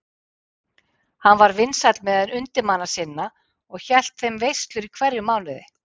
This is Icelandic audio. Hann var vinsæll meðal undirmanna sinna og hélt þeim veislur í hverjum mánuði.